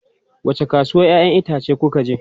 Wace kasuwan 'ya'yan itace kuka je?